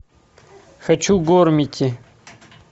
хочу гормити